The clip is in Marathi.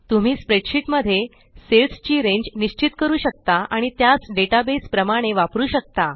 तुम्ही स्प्रेडशीट मध्ये सेल्स ची रेंज निश्चित करू शकता आणि त्यास डेटाबेस प्रमाणे वापरु शकता